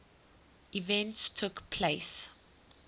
events took place